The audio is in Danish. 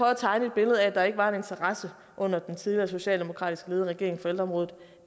at tegne et billede af at der ikke var interesse under den tidligere socialdemokratisk ledede regering for ældreområdet